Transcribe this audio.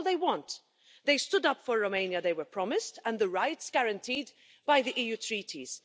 That is all they want. They stood up for the Romania they were promised and for the rights guaranteed by the EU treaties.